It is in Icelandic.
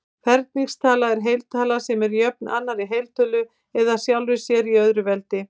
Ferningstala er heiltala sem er jöfn annarri heiltölu eða sjálfri sér í öðru veldi.